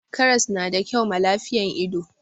karras na da kyau ma lafiyan ido